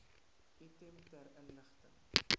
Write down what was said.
item ter inligting